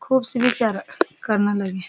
खूब सी बिचारा कन लग्याँ।